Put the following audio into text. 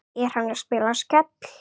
Er hann að spila Skell?